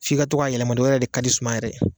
Fɔ i ka to k'a yɛlɛma de o yɛrɛ de ka di suma yɛrɛ ye.